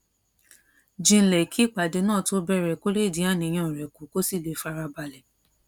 jinlẹ kí ìpàdé náà tó bèrè kó lè dín àníyàn rè kù kó sì lè fara balè